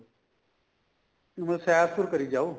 ਮੈਂ ਸੈਰ ਸੂਰ ਕਰੀ ਜਾਉ